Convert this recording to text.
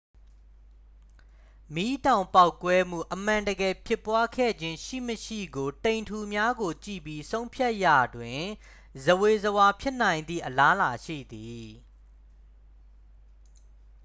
မီးတောင်ပေါက်ကွဲမှု အမှန်တကယ်ဖြစ်ပွားခဲ့ခြင်းရှိမရှိကို တိမ်ထုများကို ကြည့်ပြီး ဆုံးဖြတ်ရာတွင် ဇဝေဇဝါဖြစ်နိုင်သည့် အလားအလာရှိသည်